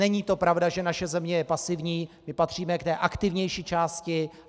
Není to pravda, že naše země je pasivní, my patříme k té aktivnější části.